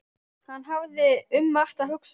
Hann hafði um margt að hugsa.